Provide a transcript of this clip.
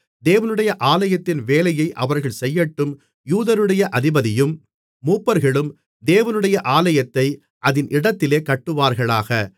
தேவனுடைய ஆலயத்தின் வேலையை அவர்கள் செய்யட்டும் யூதருடைய அதிபதியும் மூப்பர்களும் தேவனுடைய ஆலயத்தை அதின் இடத்திலே கட்டுவார்களாக